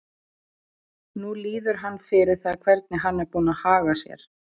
Nú líður hann fyrir það hvernig hann er búinn að haga sér.